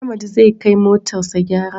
Ahmad zai kai motar sa gyara